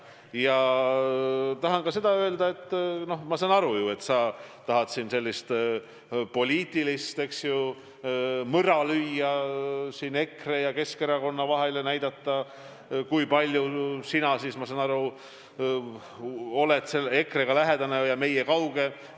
Ja tahan öelda ka seda: ma saan aru, et sa tahad siin lüüa poliitilist mõra EKRE ja Keskerakonna vahele ja näidata, et mina olen EKRE-ga lähedane, teie aga olete kauged.